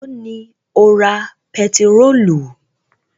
Èló ni o ra pẹtirólù?